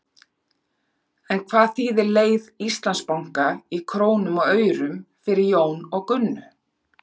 En hvað þýðir leið Íslandsbanka í krónum og aurum fyrir Jón og Gunnu?